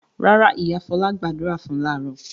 Rárá, ìyá Fọlá gbàdúrà fún láàárọ̀.